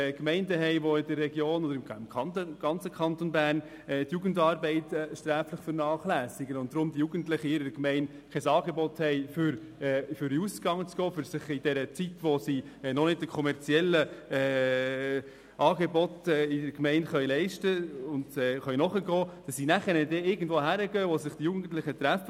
Es gibt im ganzen Kanton Bern Gemeinden, die beispielsweise die Jugendarbeit sträflich vernachlässigen, sodass die Jugendlichen kein Angebot für den Ausgang haben und in der Zeit, in der sie sich die kommerziellen Angebote der Gemeinde noch nicht leisten können, irgendwohin gehen, wo sich Jugendliche treffen.